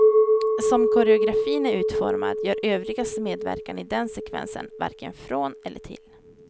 Som koreografin är utformad gör övrigas medverkan i den sekvensen varken från eller till.